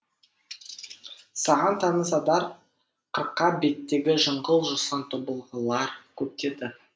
саған таныс адыр қырқа беттегі жыңғыл жусан тобылғылар көктеді